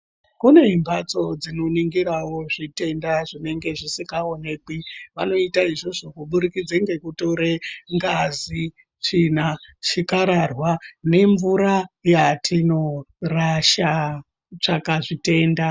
Kune mbatso dzinoningirawo zvitenda zvinenge zvisingaonekwi. Vanoita izvozvo kubudikidza ngekutore ngazi, tsvina, chikararwa nemvura yatinorasha kutsvaga zvitenda.